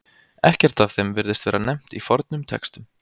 Ekkert af þeim virðist vera nefnt í fornum textum.